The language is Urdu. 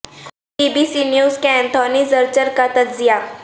بی بی سی نیوز کے اینتھونی زرچر کا تجزیہ